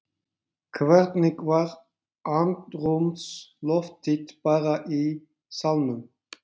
Hvernig var andrúmsloftið bara í salnum?